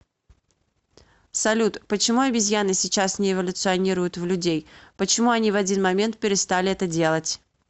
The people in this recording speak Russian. салют почему обезьяны сейчас не эволюционируют в людей почему они в один момент перестали это делать